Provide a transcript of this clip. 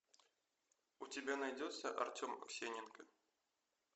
у тебя найдется артем аксененко